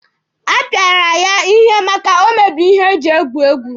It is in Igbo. A pịara ya ihe maka o mebiri ihe eji egwu egwu.